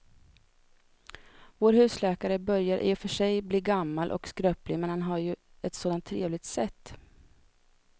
Vår husläkare börjar i och för sig bli gammal och skröplig, men han har ju ett sådant trevligt sätt!